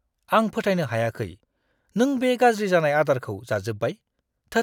आं फोथायनो हायाखै नों बे गाज्रि जानाय आदारखौ जाजोब्बाय। थोद!